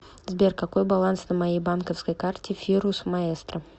сбер какой баланс на моей банковской карте фирус маэстро